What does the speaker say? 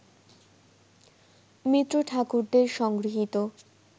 মিত্র-ঠাকুরদের সংগৃহীত